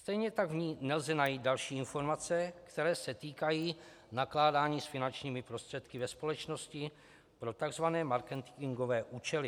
Stejně tak v ní nelze najít další informace, které se týkají nakládání s finančními prostředky ve společnosti pro tzv. marketingové účely.